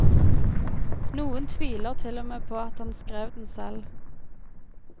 Noen tviler til og med på at han skrev den selv.